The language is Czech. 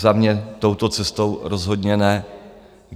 Za mě touto cestou rozhodně ne.